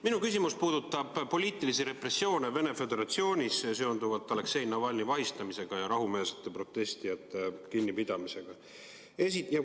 Minu küsimused puudutavad poliitilisi repressioone Venemaa Föderatsioonis seonduvalt Aleksei Navalnõi vahistamisega ja rahumeelsete protestijate kinnipidamisega.